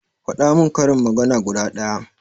Faɗa min karin magana guda ɗaya